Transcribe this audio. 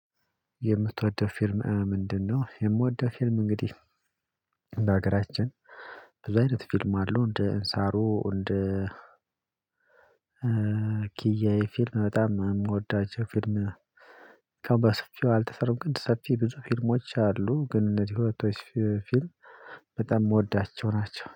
የምትወደው ፊልም ምንድነው? የምወደው ፊልም እንግዲህ በሀገራችን ብዙ አይነት ፊልም አለው እንደ እንሳሮ እንደ ኪያዬ ፊልም በጣም የምወዳቸው ፊልም ነው። ከባድ ሰፊው አልተሰሩም ቅድ ሰፊ ብዙ ፊልሞች አሉ። ግን እነዚህ ሁለቶች ፊልም በጣም የምወዳቸው ናቸው